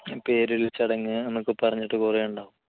പേരിൽ ചടങ്ങ് എന്നൊക്കെ പറഞ്ഞിട്ട് കുറേയുണ്ടാവും